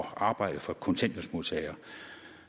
at arbejde for kontanthjælpsmodtagere